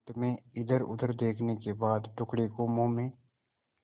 अंत में इधरउधर देखने के बाद टुकड़े को मुँह में